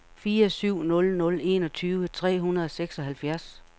fire syv nul nul enogtyve tre hundrede og seksoghalvfjerds